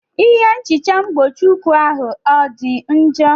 Ihe nhicha mgbochieikuu ahụ ọ dị njọ?